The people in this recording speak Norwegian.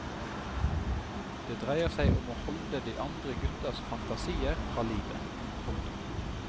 Det dreier seg om å holde de andre guttas fantasier fra livet. punktum